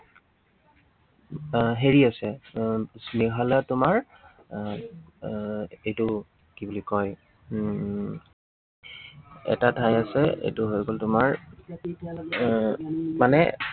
এৰ হেৰি আছে আহ মেঘালয়ত তোমাৰ এৰ এৰ এইটো কি বুলি কয় উম এটা ঠাই আছে, এইটো হৈ গল তোমাৰ আহ মানে